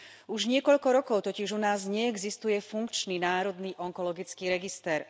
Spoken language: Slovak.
Už niekoľko rokov totiž u nás neexistuje funkčný národný onkologický register.